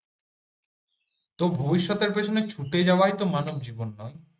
তো ভবিষ্যতের পিছনে যাওয়াই তো মানবজীবন ।